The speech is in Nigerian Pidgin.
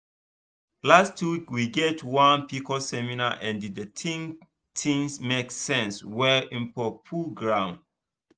last week we get one pcos seminar and the thing thing make sense well info full ground